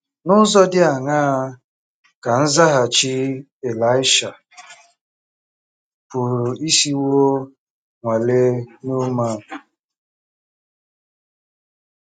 N’ụzọ dị aṅaa ka nzaghachi Ịlaịsha pụrụ isiwo nwalee Neaman?